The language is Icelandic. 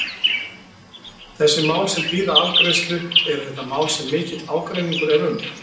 Þessi mál sem bíða afgreiðslu, eru þetta mál sem mikill ágreiningur er um?